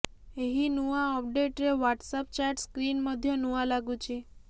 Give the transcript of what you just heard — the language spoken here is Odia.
ଏହି ନୂଆ ଅପଡେଟ୍ରେ ହ୍ୱାଟ୍ସଆପ୍ ଚାଟ୍ ସ୍କ୍ରିନ୍ ମଧ୍ୟ ନୂଆ ଲାଗୁଛି